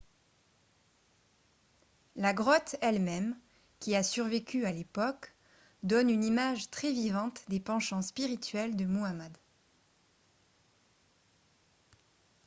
la grotte elle-même qui a survécu à l'époque donne une image très vivante des penchants spirituels de muhammad